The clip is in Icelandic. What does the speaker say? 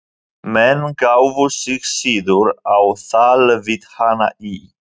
Menn gáfu sig síður á tal við hana í